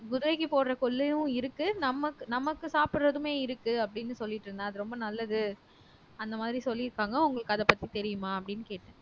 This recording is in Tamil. குதிரைக்கு போடுற கொள்ளையும் இருக்கு நமக்கு நமக்கு சாப்பிடுறதுமே இருக்கு அப்படின்னு சொல்லிட்டு இருந்தா அது ரொம்ப நல்லது அந்த மாதிரி சொல்லியிருப்பாங்க உங்களுக்கு அத பத்தி தெரியுமா அப்படின்னு கேட்டேன்